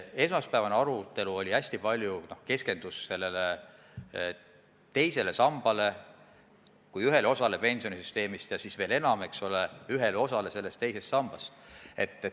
Esmaspäevane arutelu keskendus hästi palju teisele sambale kui ühele osale pensionisüsteemist ja siis veel enam, eks ole, ühele osale sellest teisest sambast.